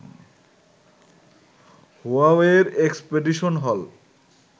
হুয়াওয়েইর expedition হল